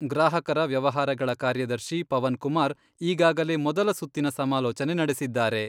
ಗ್ರಾಹಕರ ವ್ಯವಹಾರಗಳ ಕಾರ್ಯದರ್ಶಿ ಪವನ್ಕುಮಾರ್ ಈಗಾಗಲೇ ಮೊದಲ ಸುತ್ತಿನ ಸಮಾಲೋಚನೆ ನಡೆಸಿದ್ದಾರೆ.